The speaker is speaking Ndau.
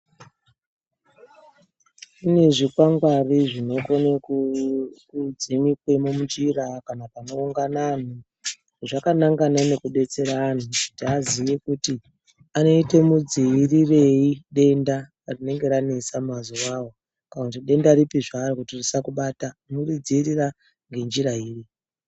Kune zvikwangwari zvinokone kudzimikwe munjira kana panoungana anthu zvakanangana nekudetsera anthu kuti aziye kuti anoiite midziirirei denda rinenge ranesa mazuwao kana kuti denda ripi zvaro kuti risakubata tinoridziirira ngenjira iri.